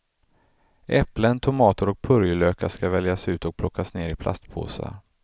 Äpplen, tomater och purjolökar skall väljas ut och plockas ner i platspåsar.